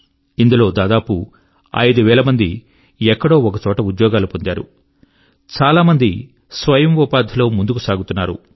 ఇందులో దాదాపు ఐదు వేల మంది ఎక్కడో ఒకచోట ఉద్యోగాలు పొందారు చాలా మంది స్వయం ఉపాధి లో ముందుకు సాగుతున్నారు